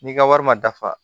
N'i ka wari ma dafa